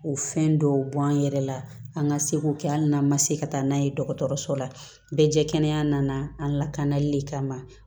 O fɛn dɔw b'an yɛrɛ la an ka seko kɛ hali n'an ma se ka taa n'a ye dɔgɔtɔrɔso la bɛɛ jɛ kɛnɛ nana an lakanali de kama